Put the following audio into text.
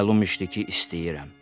Məlum idi ki, istəyirəm.